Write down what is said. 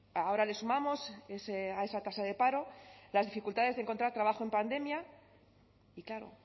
ahora le sumamos a esa tasa de paro las dificultades de encontrar trabajo en pandemia y claro